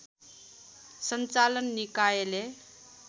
सञ्चालन निकायले